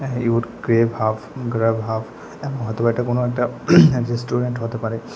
Your crave half grab half এমন হয়তো বা কোনো একটা রেস্টুরেন্ট হতে পারে।